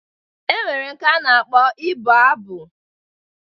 E nwere nke a na-akpọ ibụ abụ